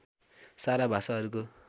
सारा भाषाहरूको